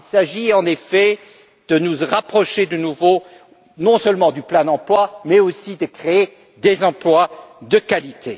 Il s'agit en effet de nous rapprocher, de nouveau, non seulement du plein emploi mais aussi de créer des emplois de qualité.